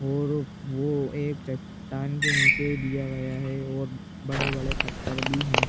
और वो एक चट्टान के नीचे दिया गया है और बड़े-बड़े पत्थर भी है।